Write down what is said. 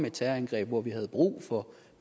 et terrorangreb og vi havde brug for